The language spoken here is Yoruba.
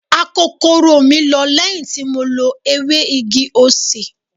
Akokoro mi lọ lẹ́yìn tí mo lo ewé igi osè.